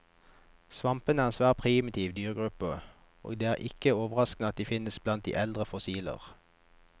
Svampene er en svært primitiv dyregruppe, og det er ikke overraskende at de finnes blant de eldste fossiler.